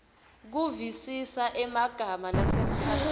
kuvisisa emagama lasemkhatsini